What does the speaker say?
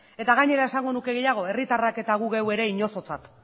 gainera esango nuke gehiago herritarrak eta gu geu ere inozotzat